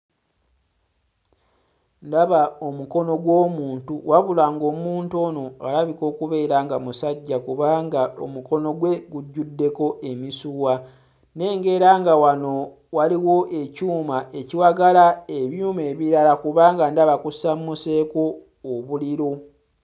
Ndaba omukono gw'omuntu wabula ng'omuntu ono alabika okubeera nga musajja kubanga omukono gwe gujjuddeko emisuwa nnengera nga wano waliwo ekyuma ekiwagala ebyuma ebirala kubanga ndaba kusammuseeko obuliro.